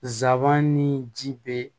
Zaban ni ji bɛ